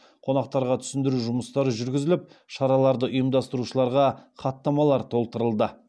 қонақтарға түсіндіру жұмыстары жүргізіліп шараларды ұйымдастырушыларға хаттамалар толтырылды